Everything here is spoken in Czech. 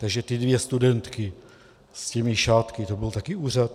Takže ty dvě studentky s těmi šátky, to byl taky úřad?